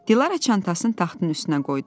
Dilarə çantasını taxtın üstünə qoydu.